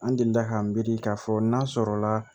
An delila k'an miiri k'a fɔ n'an sɔrɔ la